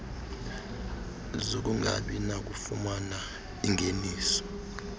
zokungabi nakufumana iingeniso